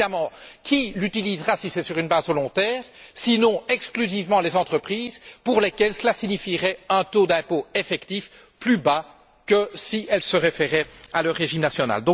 Parce qu'évidemment, qui l'utilisera si c'est sur une base volontaire, sinon exclusivement les entreprises pour lesquelles cela signifierait un taux d'impôt effectif plus bas que si elles se référaient à leur régime national?